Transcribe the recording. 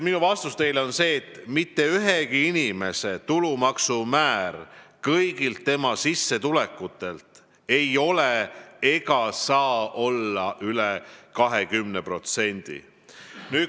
Minu vastus teile on see, et mitte ühegi inimese tulumaksu määr kõigi tema sissetulekute puhul ei ole ega saa olla üle 20%.